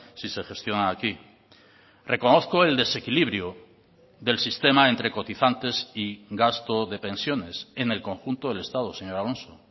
si se gestionan aquí reconozco el desequilibrio del sistema entre cotizantes y gasto de pensiones en el conjunto del estado señor alonso